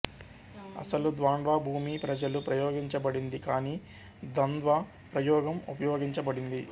అసలు ద్వాండ్వా భూమి ప్రజలు ప్రయోగించబడింది కాని ద్వంద్వ ప్రయోగం ఉపయోగించబడింది